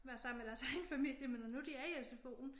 Være sammen med deres egen familie men når nu de er i sfo'en